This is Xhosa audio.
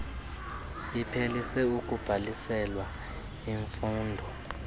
iphelise ukubhaliselwa imfundo